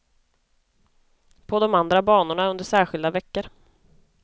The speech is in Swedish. På de andra banorna under särskilda veckor.